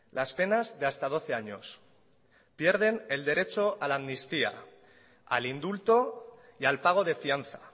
las penas de hasta doce años pierden el derecho a la amnistía al indulto y al pago de fianza